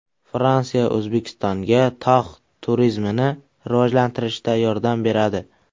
Fransiya O‘zbekistonga tog‘ turizmini rivojlantirishda yordam beradi.